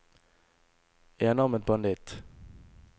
enarmet banditt